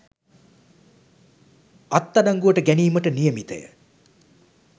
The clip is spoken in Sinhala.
අත්අඩංගුවට ගැනීමට නියමිතය